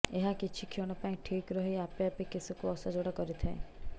ଏହା କିଛିକ୍ଷଣ ପାଇଁ ଠିକ୍ ରହି ଆପେ ଆପେ କେଶକୁ ଅସଜଡ଼ା କରିଥାଏ